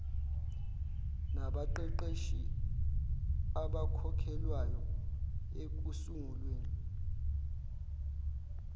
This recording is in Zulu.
nabaqeqeshi abakhokhelwayo ekusunguleni